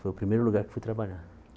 Foi o primeiro lugar que fui trabalhar.